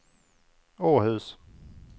Åhus